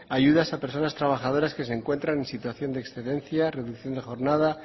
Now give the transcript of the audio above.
ayudas a personas trabajadoras que se encuentran en situación de excedencia reducción de jornada